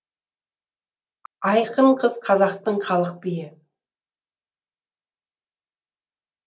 айқын қыз қазақтың халық биі